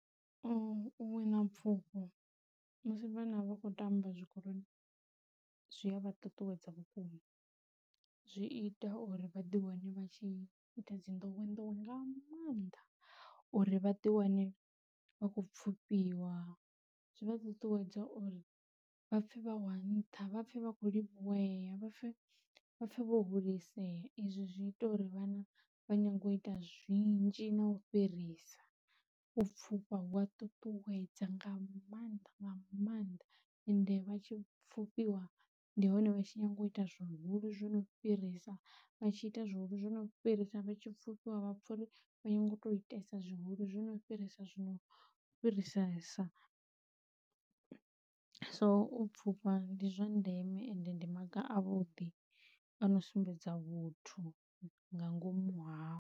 U wina pfhufho musi vhana vha kho tamba zwikoloni zwi a vha ṱuṱuwedza vhukuma, zwi ita uri vhaḓi wane vha tshi ita dzi ndowendowe nga maanḓa, uri vhaḓi wane vha kho pfufhiwa zwi vha ṱuṱuwedza uri vhapfhe vha wa nṱha vhapfhe vha kho livhuwea vha pfhe vha vho hulisea, izwi zwi ita uri vhana vha nyanga u ita zwinzhi na u fhirisa, u pfhufhiwa zwia ṱuṱuwedza nga maanḓa nga maanḓa ende vha tshi pfufhiwa ndi hone vha tshi nyanga u ita zwihulu zwo no fhirisa vha tshi ita zwihulu zwi no fhirisa vha tshipfhufhiwa vha pfha uri vha nyago u to itesa zwihulu zwino fhirisa zwino fhisesa, so u pfhufha ndi zwa ndeme ende ndi maga a vhuḓi ano sumbedza vhuthu nga ngomu hao.